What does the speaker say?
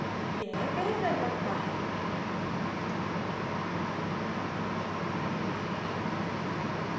यह बेहतर लगता है